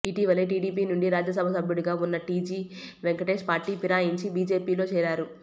ఇటీవలే టీడీపీ నుండి రాజ్య సభ సభ్యుడిగా ఉన్న టీజీ వెంకటేష్ పార్టీ ఫిరాయించి బీజేపీ లో చేరారు